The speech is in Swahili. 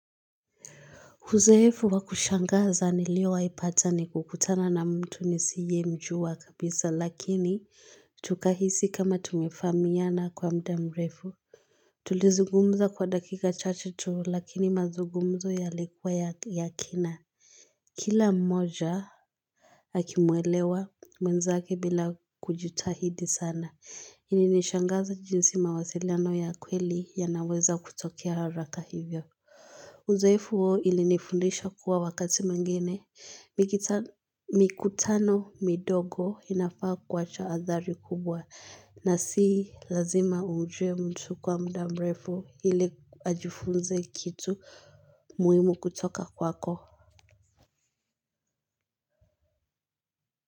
Uzoefu wa kushangaza niliyo wahi pata ni kukutana na mtu nisiye mjua kabisa lakini tukahisi kama tumefahamiana kwa muda mrefu. Tulizungumza kwa dakika chache tu lakini mazungumzo yalikuwa ya kina. Kila mmoja akimwelewa mwenzake bila kujitahidi sana. Ilinishangaza jinsi mawasiliano ya kweli yanaweza kutokea haraka hivyo. Uzoefu huo ilinifundisha kuwa wakati mwingene, mikutano midogo inafaa kuwacha athari kubwa na sii lazima ujue mtu kwa mda mrefu ili ajifunze kitu muhimu kutoka kwako.